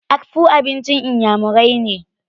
Akpu abincin iyamurai ne.